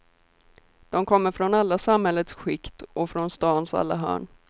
De kommer från alla samhällets skikt och från stans alla hörn.